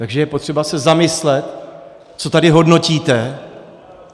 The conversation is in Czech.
Takže je potřeba se zamyslet, co tady hodnotíte.